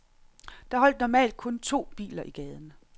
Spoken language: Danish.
Der holdt normalt kun to biler i gaden.